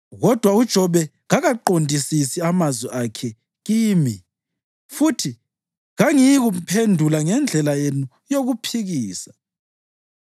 Kodwa uJobe kakaqondisisi amazwi akhe kimi, futhi kangiyikumphendula ngendlela yenu yokuphikisa.